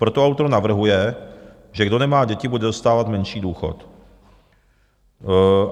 Proto autor navrhuje, že kdo nemá děti, bude dostávat menší důchod.